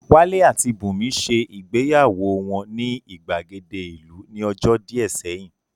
Wálé àti Bùnmi ṣe ìgbéyàwó wọn ní ìgbàgede ìlú ní ọjọ́ díẹ̀ sẹ́yìn